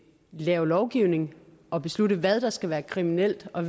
lave lovgivning og beslutte hvad der skal være kriminelt og